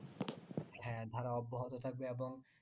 হ্যাঁ ধারায় অব্যাহত থাকবে এবং